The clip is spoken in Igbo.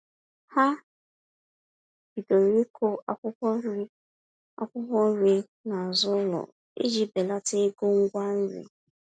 Ha bidoro ịkụ akwụkwọ nri akwụkwọ nri n'azụ ụlọ iji belata ego ngwa nri.